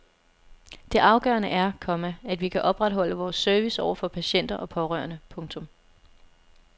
Det afgørende er, komma at vi kan opretholde vores service over for patienter og pårørende. punktum